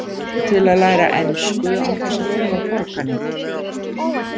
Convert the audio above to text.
Til að læra ensku án þess að þurfa að borga neitt.